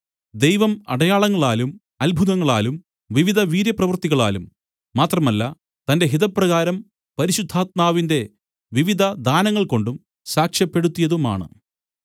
ദൈവം അടയാളങ്ങളാലും അത്ഭുതങ്ങളാലും വിവിധ വീര്യപ്രവൃത്തികളാലും മാത്രമല്ല തന്റെ ഹിതപ്രകാരം പരിശുദ്ധാത്മാവിന്റെ വിവിധ ദാനങ്ങൾ കൊണ്ടും സാക്ഷ്യപ്പെടുത്തിയതുമാണ്